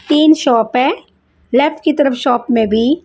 तिन शॉप है लेफ्ट की तरफ शॉप मेभी--